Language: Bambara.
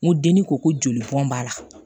N ko denni ko ko joli bɔn b'a la